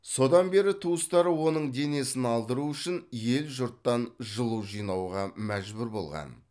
содан бері туыстары оның денесін алдыру үшін ел жұрттан жылу жинауға мәжбүр болған